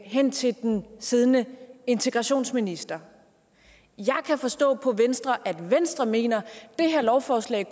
hen til den siddende integrationsminister jeg kan forstå på venstre at venstre mener at det her lovforslag i